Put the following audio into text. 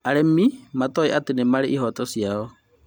Arĩmi matoĩ atĩ nĩmarĩ na ihoto ciao